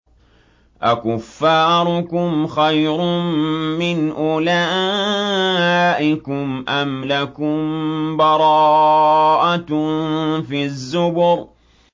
أَكُفَّارُكُمْ خَيْرٌ مِّنْ أُولَٰئِكُمْ أَمْ لَكُم بَرَاءَةٌ فِي الزُّبُرِ